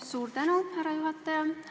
Suur tänu, härra juhataja!